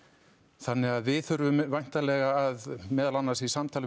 þannig að við þurfum væntanlega meðal annars í samtali við